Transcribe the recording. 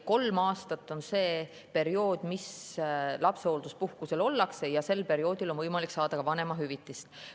Kolm aastat on see aeg, kui lapsehoolduspuhkusel ollakse, ja sel perioodil on võimalik saada ka vanemahüvitist.